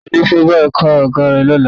Ta ni ó fẹ́ bá ẹ kan àga ẹ lọ́la?